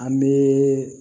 An bɛ